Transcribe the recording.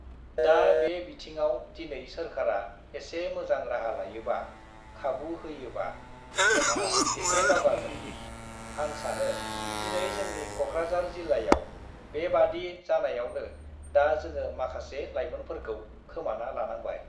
दा बे बिथिङाव दिनै सोरखारा एसे मोजां राहा लायोबा, खाबु होयोबा, जोंहा एसे दावगागोन। आं सानो दिनै जोंनि क'क्राझार जिल्लायाव बेबादि जानायावनो दा जोङो माखासे लाइमोनफोरखौ खोमाना लानांबाय।